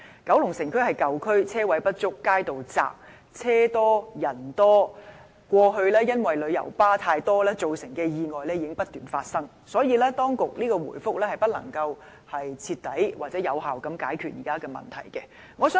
九龍城是舊區，車位不足，街道狹窄，車多人多，過去因旅遊巴過多而造成的意外已不斷發生，所以當局的答覆不能徹底或有效地解決現時的問題。